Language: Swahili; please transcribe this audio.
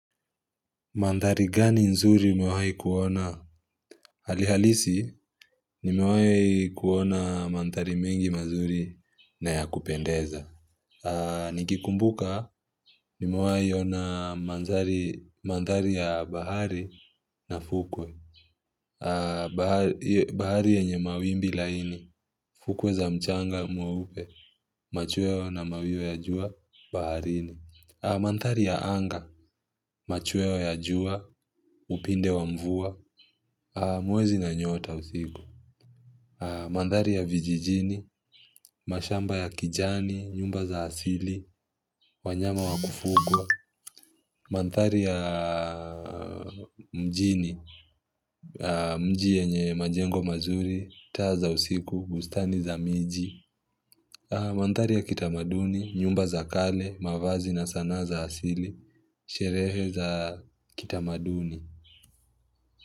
Mandhari gani nzuri umewahi kuona? Hali halisi, nimewahi kuona mandhari mengi mazuri na ya kupendeza. Nikikumbuka, nimewahi ona mandhari ya bahari na fukwe. Bahari yenye mawimbi laini, fukwe za mchanga mweupe, machweo na mawiyo ya jua, baharini. Mandhari ya anga, machweo ya jua, upinde wa mvua. Mwezi na nyota usiku, Ahh. Mandhari ya vijijini mashamba ya kijani nyumba za asili wanyama wa kufugwa. Mandhari ya mjini mji yenye majengo mazuri taa za usiku bustani za miji mandhari ya kitamaduni nyumba za kale mavazi na sanaa za asili sherehe za kitamaduni.